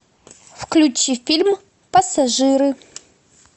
включи фильм пассажиры